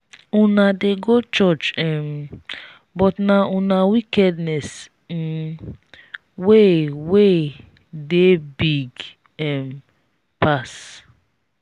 una dey go church um but na una wickedness um wey wey dey big um pass